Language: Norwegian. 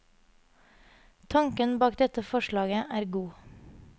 Tanken bak dette forslaget er god.